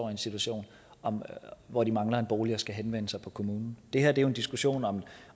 en situation hvor de mangler en bolig og skal henvende sig på kommunen det her er jo en diskussion om